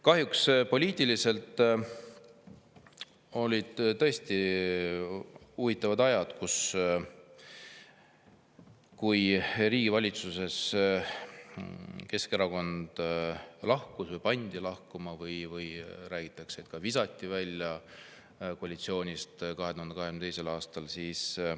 Kahjuks poliitiliselt olid huvitavad ajad, kui Keskerakond valitsusest ja koalitsioonist lahkus või pandi lahkuma – räägitakse ka, et visati välja – 2022. aastal.